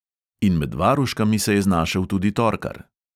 In med varuškami se je znašel tudi torkar.